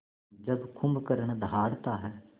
जब कुंभकर्ण दहाड़ता है